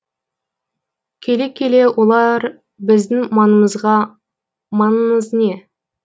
келе келе олар біздің маңымызға маңыңыз не